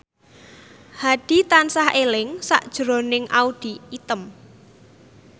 Hadi tansah eling sakjroning Audy Item